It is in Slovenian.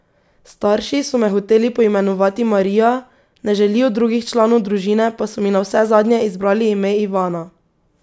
Starši so me hoteli poimenovati Marija, na željo drugih članov družine pa so mi navsezadnje izbrali ime Ivana.